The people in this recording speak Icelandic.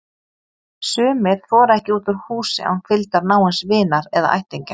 Sumir þora ekki út úr húsi án fylgdar náins vinar eða ættingja.